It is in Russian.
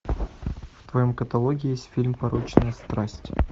в твоем каталоге есть фильм порочная страсть